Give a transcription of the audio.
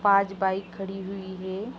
पांच बाइक खड़ी हुई है|